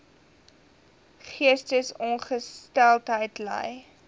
geestesongesteldheid ly